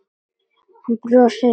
Hann brosti út að eyrum.